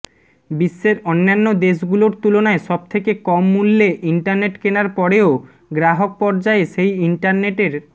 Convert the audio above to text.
বিশ্বের অন্যান্য দেশগুলোর তুলনায় সবথেকে কম মূল্যে ইন্টারনেট কেনার পরেও গ্রাহক পর্যায়ে সেই ইন্টারনেটের